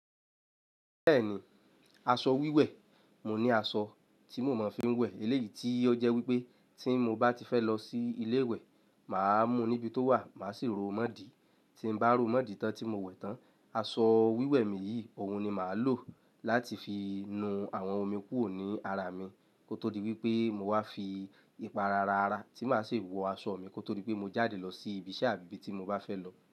Bẹ́ẹ̀ni, aṣọ wíwẹ̀, mo ní aṣọ tí mo máa ń fi ń wẹ̀ eléyìí tí ó jẹ́ wípé tí mo bá ti fẹ́ lọ sí ilé ìwẹ̀, mà á mú níbi tó wà, màá sì ró mọ́ dí. Tí n bá ró mọ́ dí tán tí mo wẹ̀ tán, aṣọ wíwẹ̀ mi yìí òhun ni màá lò láti fi nu àwọn omi kúrò ní ara mi kó tó di wípé mo wá fi ipa ara rárá tí màá sì wọ aṣọ mi kó tó dí pé mo jáde lọ sí ibi iṣẹ́ àbí ibi tí mo bá fẹ́ lọ.